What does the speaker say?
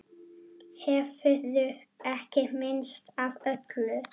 Hefurðu ekki minnst af öllum?